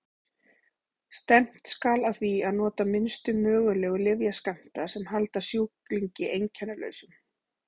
Stefnt skal að því að nota minnstu mögulegu lyfjaskammta sem halda sjúklingi einkennalausum.